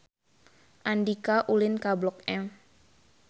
Andika ulin ka Blok M